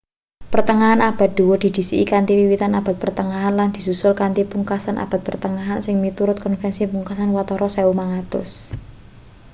pertengahan abad dhuwur didhisiki kanthi wiwitan abad pertengahan lan disusul kanthi pungkasan abad pertengahan sing miturut konvensi pungkasan watara 1500